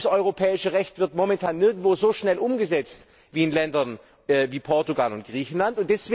Das europäische Recht wird momentan nirgendwo so schnell umgesetzt wie in Ländern wie Portugal und Griechenland.